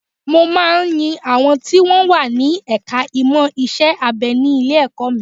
Mo máa ń ń yin àwọn tí wọ́n wà ní ẹ̀ka ìmọ̀ iṣẹ́-abẹ ní ilé-ẹ̀kọ́ mi